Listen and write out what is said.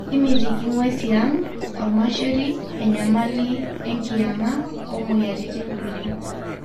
timitiki nguesi e ang olmasheri, enyamali enkiyanga o moyiaritin kulie